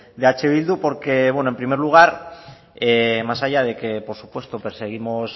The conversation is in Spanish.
de eh bildu porque en primer lugar más allá de que por supuesto perseguimos